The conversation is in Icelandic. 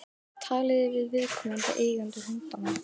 Talið þið við viðkomandi eigendur hundanna?